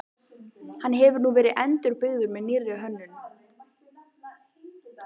Hann hefur nú verið endurbyggður með nýrri hönnun.